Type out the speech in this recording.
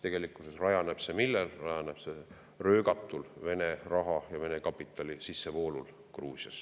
Tegelikkuses rajaneb see millel: see rajaneb röögatul Vene raha ja Vene kapitali sissevoolul Gruusiasse.